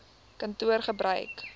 kantoor gebruik eisnr